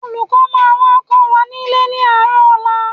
Olùkọ́ máa wá kọ́ wa nílé ní àárọ̀ ọ̀la